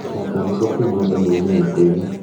gũthaka nyĩmbo kuuma ndemwa-inĩ ya kũina